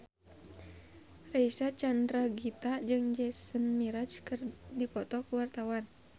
Reysa Chandragitta jeung Jason Mraz keur dipoto ku wartawan